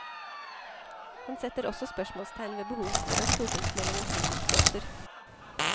Han setter også spørsmålstegn ved behovet for en stortingsmelding om fritidsbåter.